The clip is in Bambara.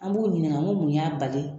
An b'u ɲininka n ko mun y'a bali